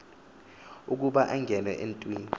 ukuba ungenwe yintoni